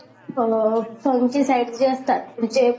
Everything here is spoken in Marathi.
अ साईड जे असतात म्हणजे